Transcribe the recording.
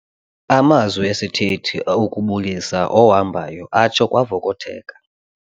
Amazwi esithethi okubulisa ohambayo atsho kwavokotheka.